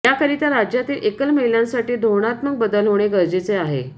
याकरिता राज्यातील एकल महिलांसाठी धोरणात्मक बदल होणे गरजेचे आहे